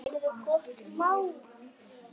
Heyrðu gott mál.